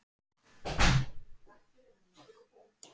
Þær eru kynntar fyrir honum.